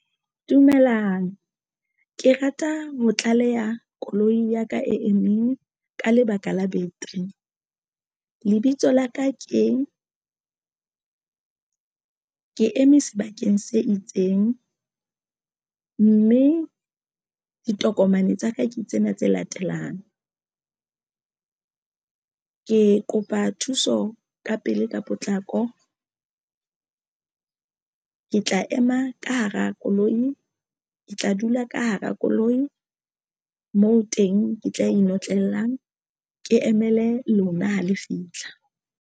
Dumelang ke rata ho tlaleha koloi ya ka e meng ka lebaka la beteri lebitso la ka ke eme sebakeng se itseng, mme ditokomane tsa ka ke tsena tse latelang. Ke kopa thuso ka pele ka potlako ke tla ema ka hara koloi ke tla dula ka hara koloi moo teng ke tla inotlellang ke emele lona ha le fitlha.